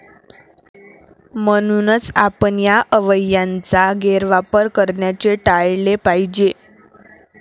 म्हणूनच, आपण या अवयवयांचा गैरवापर करण्याचे टाळले पाहिजे.